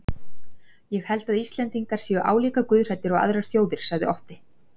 Ég held að Íslendingar séu álíka guðhræddir og aðrar þjóðir, sagði Otti.